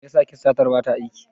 Mai yasa kistatar bata aiki?